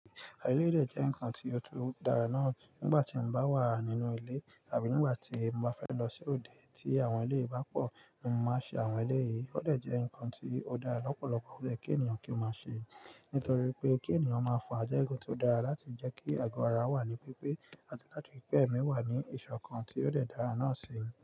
Àwọn eléyìí dè jẹ́ ǹkan tí ó tún dara náà nígbà tí mo bá wà nínú ilé àbí nígbà tí mo bá fẹ́ lọ sí òde tí àwọn eléyìí bá pọ̀ ni mo máa ṣe àwọn eléyìí. Ó dẹ̀ jẹ́ ǹkan tí ó dáa lọ́pọ̀lọpọ̀ ó lè kí ènìyàn kí ó máa ṣe. Nítorí pé kí ènìyàn máa fún ajá ẹgun tí ó dára láti jẹ́ kí àgọ ara wà ní pípé àti láti pẹ mí wà ní ìṣọ̀kan tí ó lè dára náà ṣe.